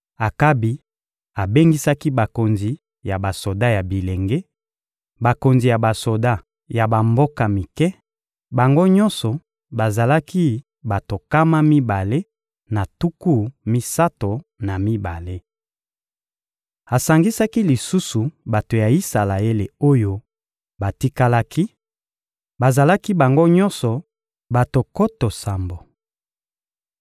Akabi abengisaki bakonzi ya basoda ya bilenge, bakonzi ya basoda ya bamboka mike; bango nyonso bazalaki bato nkama mibale na tuku misato na mibale. Asangisaki lisusu bato ya Isalaele oyo batikalaki: bazalaki bango nyonso bato nkoto sambo.